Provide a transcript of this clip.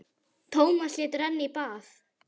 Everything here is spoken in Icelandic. Tómas lét renna í bað.